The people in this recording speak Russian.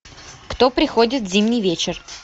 кто приходит в зимний вечер